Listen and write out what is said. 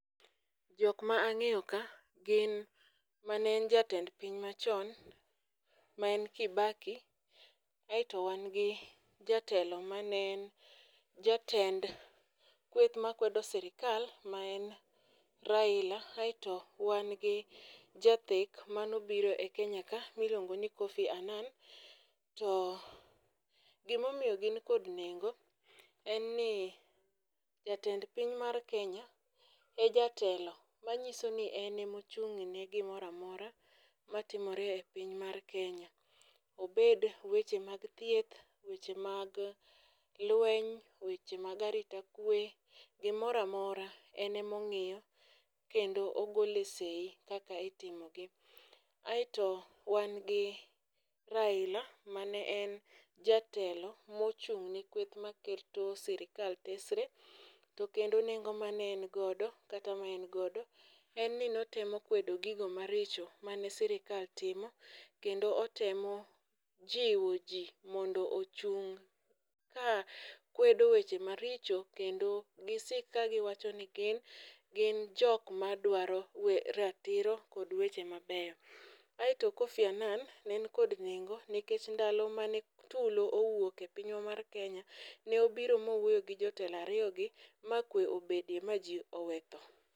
Jok ma ang'eyo ka gin ma ne en jatend piny machon, ma en Kibaki, aeto wang' gi jatelo ma ne en jatend kweth makwedo sirikal ma en Raila, aeto wang' gi jathek manobiro e Kenya ka miluongo ni Kofi Annan. To gimomiyo gin kod nengo, en ni jatend piny mar Kenya e jatelo. Manyiso ni en e mochung' ne gimoramora matimore e piny mar Kenya. Obed weche mag thieth, weche mag lweny, weche mag arita kwe, gimoramora en emong'iyo kendo ogole sei kaka itimogi. Aeto wan gi Raila ma ne en jatelo mochung'ni kweth ma keto sirikal tesre, to kendo nengo ma ne en godo, kata ma en godo, en ni notemo kwedo gigo maricho mane sirikal timo. Kendo otemo jiwo ji mondo ochung' ka kwedo weche maricho kendo gi sik ka giwacho ni gin, gin jok madwaro we ratiro kod weche mabeyo. Aeto Kofi Annan ne en kod nengo nikech ndalo ma ne tulo owuok e pinywa mar Kenya, ne obiro mowuoye gi jotelo ariyo gi ma kwe obedie, ma ji owetho.